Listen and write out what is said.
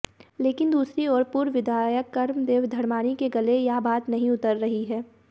लेकिन दूसरी ओर पूर्व विधायक कर्मदेव धर्माणी के गले यह बात नहीं उतर रही है